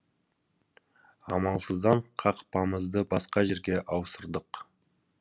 амалсыздан қақпамызды басқа жерге ауыстырдық